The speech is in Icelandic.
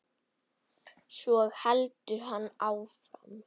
Svo heldur hann áfram